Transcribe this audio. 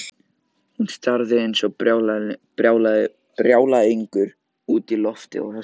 Hún starði eins og brjálæðingur út í loftið og öskraði.